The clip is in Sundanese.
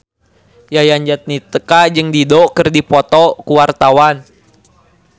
Yayan Jatnika jeung Dido keur dipoto ku wartawan